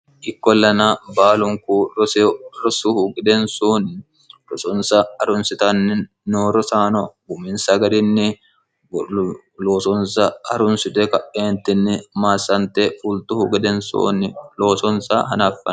ikkolana baalunku rosu gedensooni rossonsa haarunsitanni noo rossano uminsa garini losonso harunisite kae massante fultuhu gedensanni loosonisa harunsitanno